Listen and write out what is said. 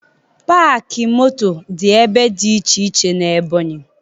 Paakị moto dị ebe dị iche iche n'Ebọnyị